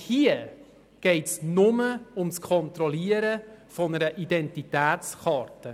Hier geht es nur um das Kontrollieren einer Identitätskarte.